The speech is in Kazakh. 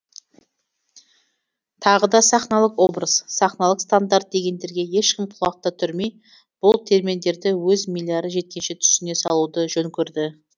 тағы да сахналық образ сахналық стандарт дегендерге ешкім құлақ та түрмей бұл терминдерді өз милары жеткенше түсіне салуды жөн көрді